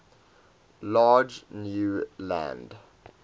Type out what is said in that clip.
large new land